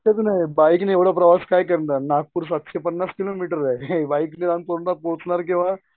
नाही शक्यच नाही बाईक नी एवढा प्रवास काय करणार नागपूर सातशे पन्नास किलो मीटर आहे बाईकनी जाऊन पोहोचणार केव्हा